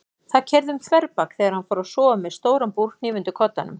Það keyrði um þverbak þegar hann fór að sofa með stóran búrhníf undir koddanum.